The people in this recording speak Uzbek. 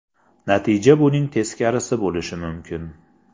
Natija buning teskarisi bo‘lishi mumkin.